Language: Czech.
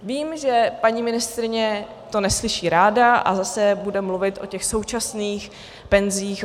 Vím, že paní ministryně to neslyší ráda a zase bude mluvit o těch současných penzích.